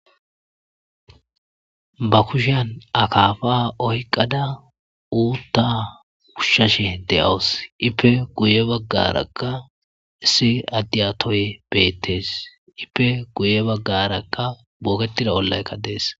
Ba kushan akaafa oyqada uutta wushshashe de7awus ippe guye baggarakka issi addiyatoy beettees ippe guye baggarakka booketida ollaykka dees.